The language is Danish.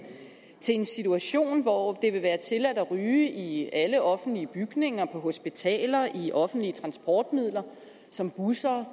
til en situation hvor det vil være tilladt at ryge i alle offentlige bygninger på hospitaler i offentlige transportmidler som busser